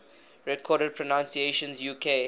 recorded pronunciations uk